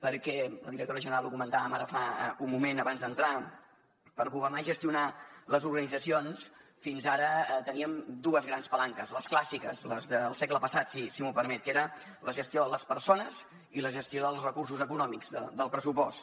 perquè amb la directora general ho comentàvem ara fa un moment abans d’entrar per governar i gestionar les organitzacions fins ara teníem dues grans palanques les clàssiques les del segle passat s’hi m’ho permet que era la gestió de les persones i la gestió dels recursos econòmics del pressupost